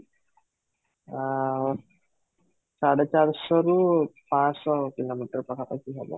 ଆଁ ସାଢ଼େ ଚାରି ଶହରୁ ପାଞ୍ଚ ଶହ kilometer ପାଖ ପାଖି ହେବ